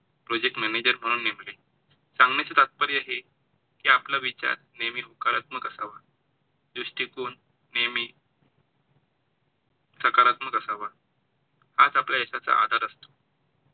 म्हणजे सांगण्याचं तात्पर्य हे कि आपला विचार नेहमी होकारात्मक असावा दृष्टिकोन नेहमी, सकारात्मक असावा, हाच आपल्या यशाचा आधार असतो.